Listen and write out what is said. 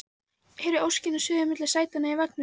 Heyri óskina suða milli sætanna í vagninum